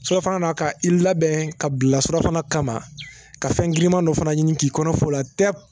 Surafana na ka i labɛn ka bila surafana kama ka fɛn giriman dɔ fana ɲini k'i kɔnɔ f'o la tɛ